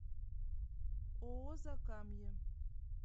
ооо закамье